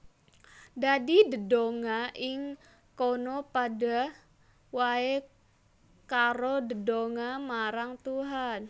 Dadi dedonga ing kono padha waé karo dedonga marang Tuhan